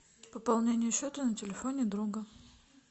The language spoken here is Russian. пополнение счета на телефоне друга